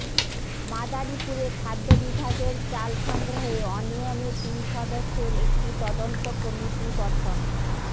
মাদারীপুরে খাদ্য বিভাগের চাল সংগ্রহে অনিয়মে তিন সদস্যের একটি তদন্ত কমিটি গঠন